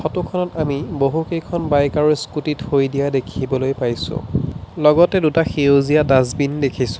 ফটোখনত আমি বহুকেইখন বাইক আৰু স্কুটি থৈ দিয়া দেখিবলৈ পাইছোঁ লগতে দুটা সেউজীয়া ডাষ্টবিন দেখিছোঁ।